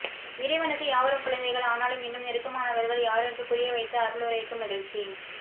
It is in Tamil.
இறைவனுக்கு யாவரும் குழந்தைகள் ஆனாலும் இன்னும் நெருக்கமானவர்கள் யாரென்று புரிய வைத்த அருளுரைக்கு மகிழ்ச்சி